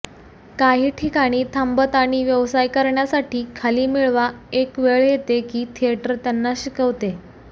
काही ठिकाणी थांबत आणि व्यवसाय करण्यासाठी खाली मिळवा एक वेळ येते की थिएटर त्यांना शिकवते